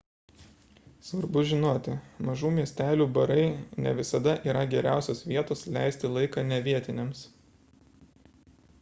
svarbu žinoti mažų miestelių barai ne visada yra geriausios vietos leisti laiką ne vietiniams